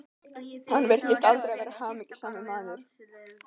Hann virtist aldrei vera hamingjusamur maður.